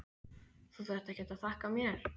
Þú þarft ekkert að þakka mér.